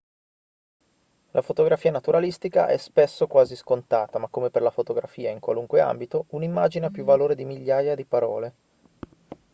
la fotografia naturalistica è spesso quasi scontata ma come per la fotografia in qualunque ambito un'immagine ha più valore di migliaia di parole